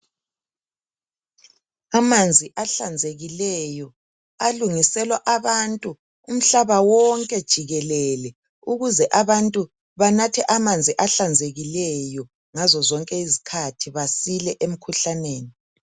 Amanzi ahlanzekileyo alungiselwa abantu umhlaba wonke jikelele ukuze abantu banathe amanzi ahlanzekileyo ngazo zonke izikhathi basile emikhuhlaneni.